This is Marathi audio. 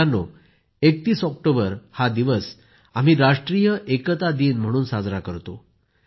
मित्रांनो ३१ ऑक्टोबर हा दिवस आपण राष्ट्रीय एकता दिन म्हणून साजरा करतो